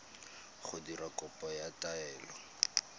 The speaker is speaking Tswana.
go dira kopo ya taelo